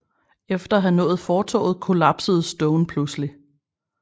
Efter at have nået fortovet kollapsede Stone pludselig